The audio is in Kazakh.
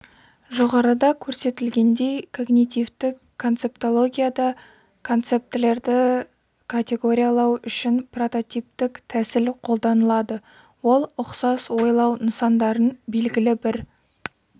жоғарыда көрсетілгендей когнитивтік концептологияда концептілерді категориялау үшін прототиптік тәсіл қолданылады ол ұқсас ойлау нысандарын белгілі бір